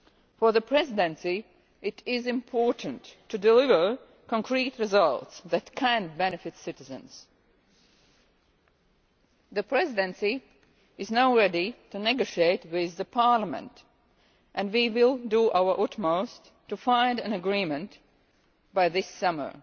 For the Presidency it is important to deliver concrete results that can benefit citizens. The Presidency is now ready to negotiate with Parliament and we will do our utmost to find an agreement by this summer,